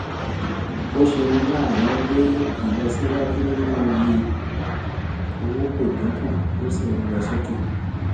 ó ṣeni láàánú pé ìlọsíwájú nínú iye owó kò dín kù ó sì ń lọ sókè